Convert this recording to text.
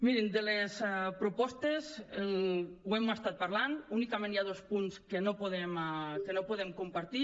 mirin de les propostes ho hem estat parlant i únicament hi ha dos punts que no podem compartir